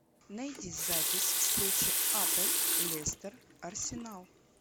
найди запись встречи апл лестер арсенал